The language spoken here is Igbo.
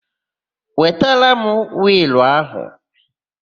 Wetara m wịịlụ áhụ̀!